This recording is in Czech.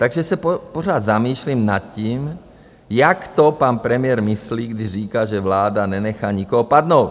Takže se pořád zamýšlím nad tím, jak to pan premiér myslí, když říká, že vláda nenechá nikoho padnout.